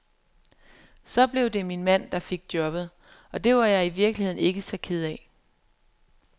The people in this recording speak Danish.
Så blev det min mand, der fik jobbet, og det var jeg i virkeligheden ikke så ked af.